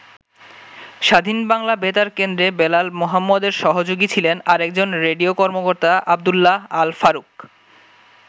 স্বাধীন বাংলা বেতার কেন্দ্রে বেলাল মোহাম্মদের সহযোগী ছিলেন আরেকজন রেডিও কর্মকর্তা আবদুল্লাহ আল-ফারুক।